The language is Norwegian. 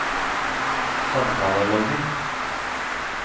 samtaleloggen